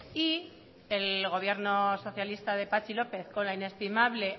y el gobierno socialista de patxi lópez con la inestimable